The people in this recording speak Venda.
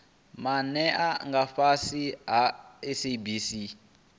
maana nga fhasi ha sabc